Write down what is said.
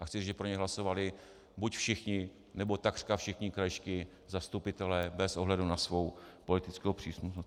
A chci říct, že pro něj hlasovali buď všichni, nebo takřka všichni krajští zastupitelé bez ohledu na svou politickou příslušnost.